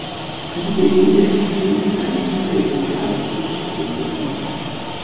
Þessi gildi gætu því skýrt að einhverju leyti af hverju fólk gengur í hjónaband.